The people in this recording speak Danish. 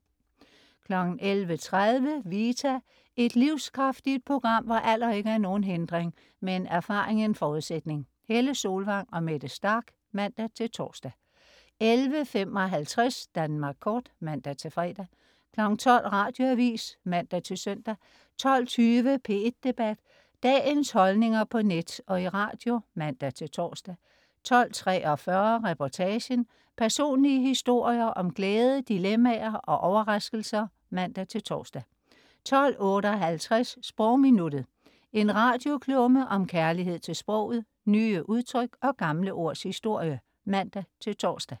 11.30 Vita. Et livskraftigt program, hvor alder ikke er nogen hindring, men erfaring en forudsætning. Helle Solvang og Mette Starch (man-tors) 11.55 Danmark Kort (man-fre) 12.00 Radioavis (man-søn) 12.20 P1 Debat. Dagens holdninger på net og i radio (man-tors) 12.43 Reportagen. Personlige historier om glæde, dilemmaer og overraskelser (man-tors) 12.58 Sprogminuttet. En radioklumme om kærlighed til sproget, nye udtryk og gamle ords historie (man-tors)